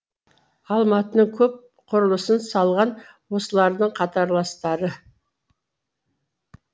алматының көп құрылысын салған осылардың қатарластары